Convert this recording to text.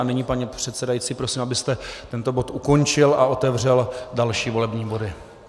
A nyní, pane předsedající, prosím, abyste tento bod ukončil a otevřel další volební body.